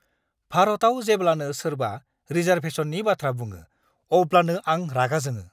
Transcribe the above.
भारताव जेब्लानो सोरबा रिजार्भेशननि बाथ्रा बुङो अब्लानो आं रागा जोङो!